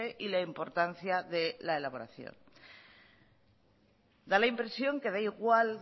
y la importancia de la elaboración da la impresión que da igual